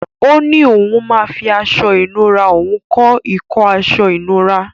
Ó ní òun máa fi aṣọ ìnura òun kọ́ ìkọ́ aṣọ ìnura.